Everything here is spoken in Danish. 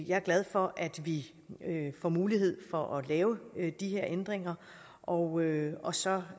jeg er glad for at vi får mulighed for at lave de her ændringer og og så